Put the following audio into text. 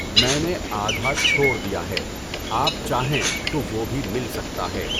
میں نے آدھا چھوڑ دیا ہے، آپ چاہیں تو وہ بھی مل سکتا ہے۔